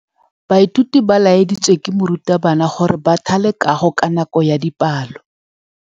Baithuti ba laeditswe ke morutabana gore ba thale kagô ka nako ya dipalô.